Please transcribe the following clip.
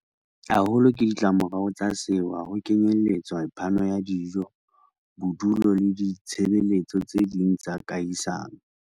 haholo ke ditlamorao tsa sewa, ho kenyeletswa phano ya dijo, bodulo le ditshebe letso tse ding tsa kahisano.